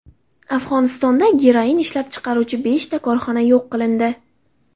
Afg‘onistonda geroin ishlab chiqaruvchi beshta korxona yo‘q qilindi.